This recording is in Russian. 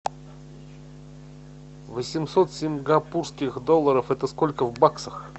восемьсот сингапурских долларов это сколько в баксах